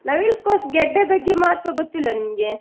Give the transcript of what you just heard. ನವಿಲುಕೋಸು ಗೆಡ್ಡೆ ಬಗ್ಗೆ ಮಹತ್ವ ಗೊತ್ತಿಲ್ವಾ ನಿಮ್ಗೆ?